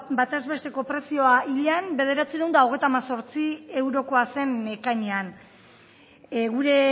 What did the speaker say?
bataz besteko prezioa hilean bederatziehun eta hogeita hemezortzi eurokoa zen ekainean gure